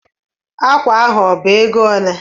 Ákwà ahụ ọ bụ égo olé?